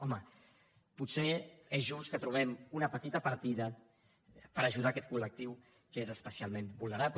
home potser és just que trobem una petita partida per ajudar aquest col·lectiu que és especialment vulnerable